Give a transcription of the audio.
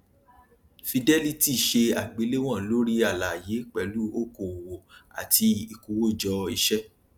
fidelity ṣe àgbélewọn lórí aláàyè pẹlú okòowò àti ìkówójọ iṣẹ